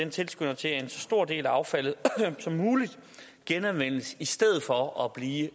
tilskynder til at så stor en del af affaldet som muligt genanvendes i stedet for at blive